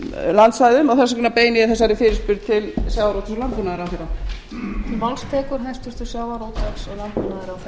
landsvæðum og þess vegna beini ég þessari fyrirspurn til hæstvirts sjávarútvegs og landbúnaðarráðherra